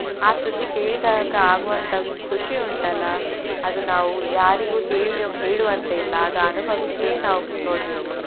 ಆ ಸುದ್ದಿ ಕೇಳಿದಾಗ ಆಗುವಂತ ಖುಷಿ ಉಂಟಲ್ಲ ಅದು ನಾವು ಯಾರಿಗೂ ಹೇಳಿ~ ಹೇಳುವಂತಿಲ್ಲ ಅದು ಅನುಭವಿಸಿಯೇ ನಾವು ನೋಡ್ಬೇಕು.